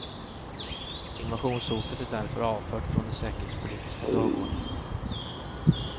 Invasionshotet är därför avfört från den säkerhetspolitiska dagordningen.